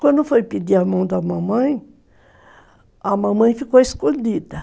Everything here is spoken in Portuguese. Quando foi pedir a mão da mamãe, a mamãe ficou escondida.